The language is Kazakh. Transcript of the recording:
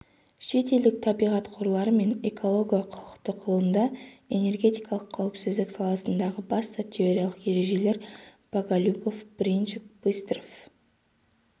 шет елдік табиғат қорлары мен эколого-құқықтық ғылымда энергетикалық қауіпсіздік саласындағы басты теориялық ережелер боголюбов бринчук быстров